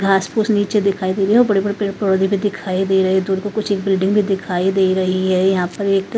घासफूस नीचे दिखाई दे रहे हैं और बड़े बड़े पेड़ पौधे भी दिखाई दे रहे है दूर को कुछ एक बिल्डिंग भी दिखाई दे रही है यहां पर एक--